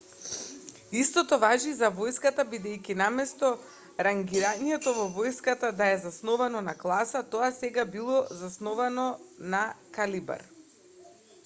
истото важи и за војската бидејќи наместо рангирањето во војската да е засновано на класа тоа сега било засновано на калибар